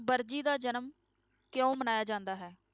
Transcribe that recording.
ਵਰਜੀ ਦਾ ਜਨਮ ਕਿਉਂ ਮਨਾਇਆ ਜਾਂਦਾ ਹੈ?